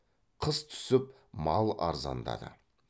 қыс түсіп мал арзандады